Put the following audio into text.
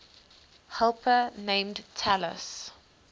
helper named talus